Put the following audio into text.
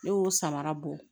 Ne y'o samara bɔ